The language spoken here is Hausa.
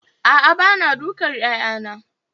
A'a bana dukan 'ya'yana